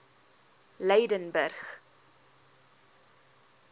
lydenburg